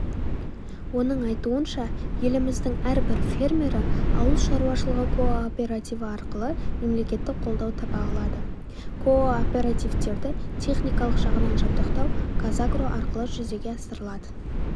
оның айтуынша еліміздің әрбір фермері ауыл шаруашылығы кооперативі арқылы мемлекеттік қолдау таба алады кооперативтерді техникалық жағынан жабдықтау казагро арқылы жүзеге асырылады